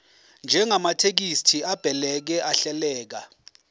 njengamathekisthi abhaleke ahleleka